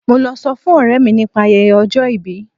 Mo lọ sọ fún ọ̀rẹ́ mi nípa ayẹyẹ ọjọ ìbí.